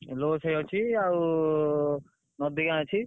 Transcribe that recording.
ଆଉ ନଦୀ ଗାଁ ଅଛି।